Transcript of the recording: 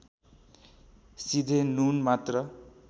सिधे नुन मात्र